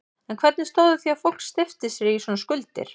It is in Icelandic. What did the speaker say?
En hvernig stóð á því að fólk steypti sér í svona skuldir?